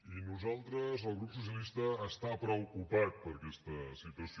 i nosaltres el grup socialista estem preocupats per aquesta situació